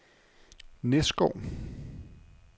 Næsgård